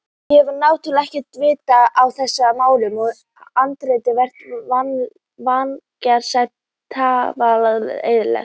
Ég hef náttúrlega ekkert vit á þessum málum en handritið virtist vægast sagt talsvert ellilegt.